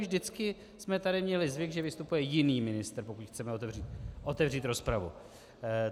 Vždycky jsme tady měli zvyk, že vystupuje jiný ministr, pokud chceme otevřít rozpravu.